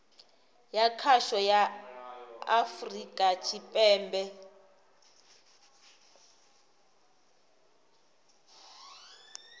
ya khasho ya afurika tshipembe